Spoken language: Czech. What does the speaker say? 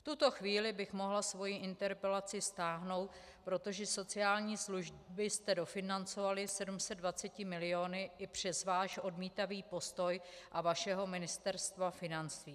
V tuto chvíli bych mohla svoji interpelaci stáhnout, protože sociální služby jste dofinancovali 720 miliony i přes váš odmítavý postoj a vašeho Ministerstva financí.